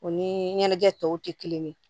O ni ɲɛnajɛ tɔw tɛ kelen ye